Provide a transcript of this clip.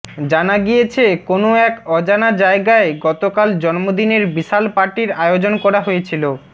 জানা গিয়েছে কোনও এক অজানা জায়গায় গতকাল জন্মদিনের বিশাল পার্টির আয়োজন করা হয়েছিল